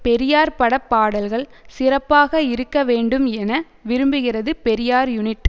பெரியார் பட பாடல்கள் சிறப்பாக இருக்க வேண்டும் என விரும்புகிறது பெரியார் யூனிட்